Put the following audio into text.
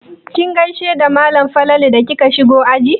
Kin gaishe da malam Falalu da kika shigo aji?